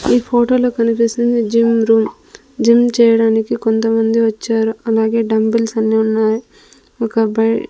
ఈ ఫోటోలో కనిపిస్తుంది జిమ్ రూమ్ జిమ్ చేయడానికి కొంతమంది వచ్చారు అలాగే డంబుల్స్ అన్నీ ఉన్నాయి ఒకబ్బాయ్--